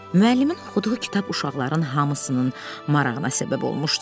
Müəllimin oxuduğu kitab uşaqların hamısının marağına səbəb olmuşdu.